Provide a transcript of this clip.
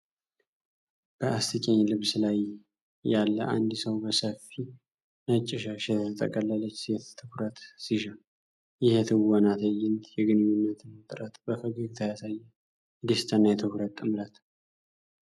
በአስቂኝ ልብስ ላይ ያለ አንድ ሰው በሰፊ ነጭ ሻሽ የተጠቀለለች ሴት ትኩረት ሲሻ። ይህ የትወና ትዕይንት የግንኙነትን ውጥረት በፈገግታ ያሳያል። የደስታና የትኩረት ጥምረት!